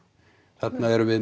þarna erum við